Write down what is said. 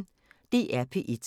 DR P1